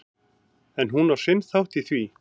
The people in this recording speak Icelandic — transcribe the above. En hún á sinn þátt í því.